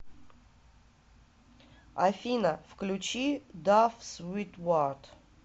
афина включи дав свитварт